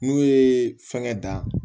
N'u ye fɛngɛ da